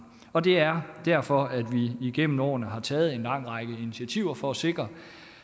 og det er derfor at vi igennem årene har taget en lang række initiativer for at sikre